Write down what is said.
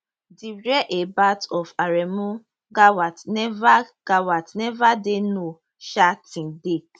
di whereabout of aremu gawat never gawat never dey known um till date